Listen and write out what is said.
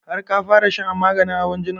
Har ka fara shan maganin hawan jinin?